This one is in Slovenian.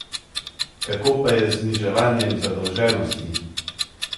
Kako pa je z zniževanjem zadolženosti?